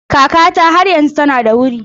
Kakata har yanzu tana da wuri.